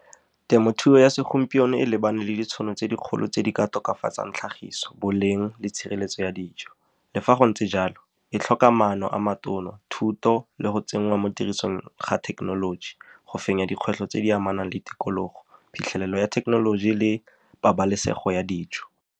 Temothuo ya segompieno e lebane le ditšhono tse dikgolo tse di ka tokafatsang tlhagiso, boleng le tshireletso ya dijo. Le fa go ntse jalo, e tlhoka maano a matona, thuto le go tsenngwa mo tirisong ga thekenoloji go fenya dikgwetlho tse di amanang le tikologo, phitlhelelo ya thekenoloji le pabalesego ya dijo.